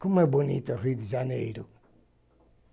Como é bonito o Rio de Janeiro!